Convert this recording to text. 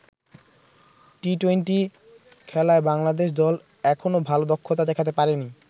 টি-২০ খেলায় বাংলাদেশ দল এখনও ভালো দক্ষতা দেখাতে পারেনি।